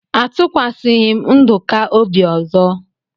Atụkwaghi m Nduka obi ọzọ.